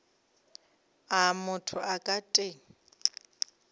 a motho a ka teng